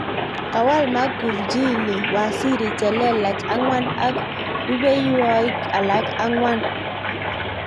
Kawal Magufjli waziri chelelach angwan ak rupehwokik alak angwan.